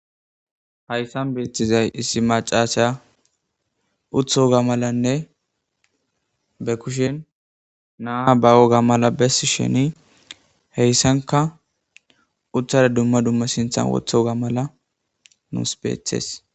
hayssan beethtizay issi macaasa utoga malanne be kushen naa ba woga mala bessi sheni heyssanka uthara dumma dumma sinthan wotho ga mala nuus beetees